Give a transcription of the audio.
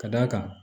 Ka d'a kan